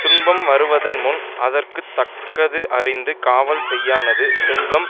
துன்பம் வருவதன்முன் அதற்கு தக்கது அறிந்து காவல் செய்யானது செல்வம்